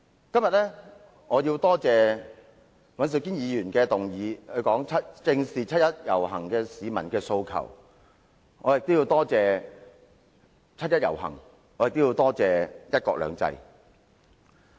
我今天要感謝尹兆堅議員提出"正視七一遊行市民的訴求"的議案，也要感謝七一遊行和"一國兩制"。